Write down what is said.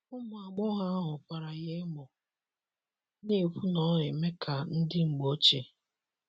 Ụmụ agbọghọ ahụ kwara ya emo, na - ekwu na ọ eme ka ndi mgbọ oche.